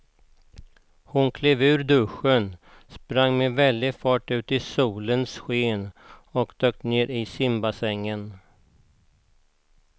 Hon klev ur duschen, sprang med väldig fart ut i solens sken och dök ner i simbassängen.